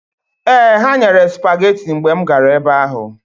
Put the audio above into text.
Ee, ha nyere sụpageti mgbe m gara ebe ahụ.